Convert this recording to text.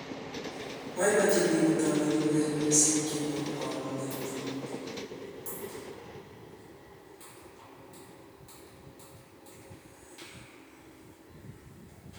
Boibochine biik kotobenik urerioshe che bo kamung'e.